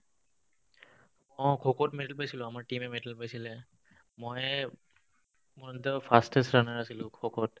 অ, খোখোত medal পাইছিলো আমাৰ team য়ে medal পাইছিলে ময়ে মই তেউ fastest runner আছিলো খোখোত